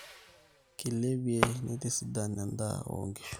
keilepie neitisidan endaa oo nkishu